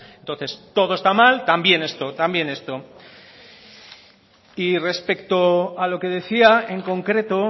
entonces todo está mal también esto y respecto a lo que decía en concreto